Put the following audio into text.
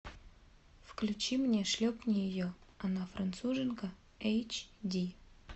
включи мне шлепни ее она француженка эйч ди